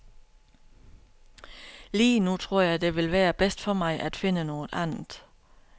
Lige nu tror jeg det vil være bedst for mig at finde noget andet.